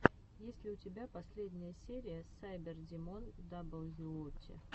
есть ли у тебя последняя серия сайбердимон даблюоути